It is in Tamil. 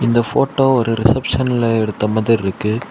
இந்த போட்டோ ஒரு ரிசப்ஷன்ல எடுத்த மாதிரி இருக்கு.